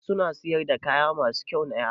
Eh suna siyar da kaya masu kyau na Yara.